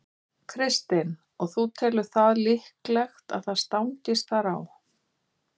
Kristinn: Og þú telur það líklegt að það stangist þar á?